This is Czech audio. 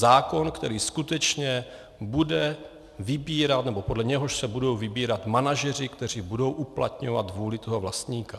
Zákon, který skutečně bude vybírat, nebo podle něhož se budou vybírat manažeři, kteří budou uplatňovat vůli toho vlastníka.